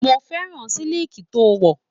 Mo fẹ́ràn siliki to wọ̀.